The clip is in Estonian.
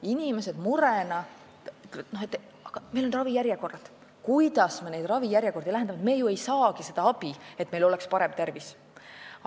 Inimesed ütlevad, et on ravijärjekorrad ja ei saagi ju abi, et oleks parem tervis.